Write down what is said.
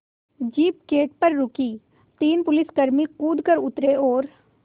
jeep gate पर रुकी तीन पुलिसकर्मी कूद कर उतरे और